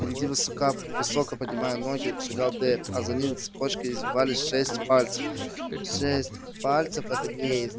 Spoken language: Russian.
впереди высоко поднимая ноги шагал дейв а за ним цепочкой извивались шесть пальцев